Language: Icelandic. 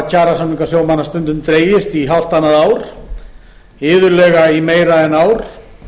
kjarasamningar sjómanna hafa stundum dregist í hálft annað ár iðulega í meira en ár